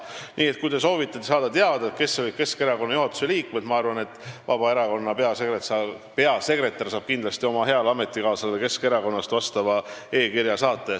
Nii et kui te soovite teada, kes olid tollal Keskerakonna juhatuse liikmed, siis ma arvan, et Vabaerakonna peasekretär saab kindlasti oma heale ametikaaslasele Keskerakonnast selle kohta e-kirja saata.